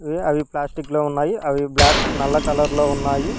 అవి ప్లాస్టిక్ లో ఉన్నాయి అవి బ్లాక్ నల్ల కలర్ లో ఉన్నాయి.